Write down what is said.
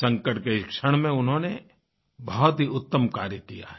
संकट के इस क्षण में उन्होंने बहुत ही उत्तम कार्य किया है